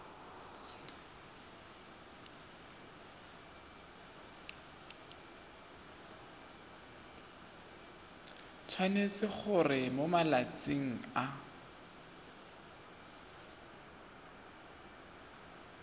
tshwanetse gore mo malatsing a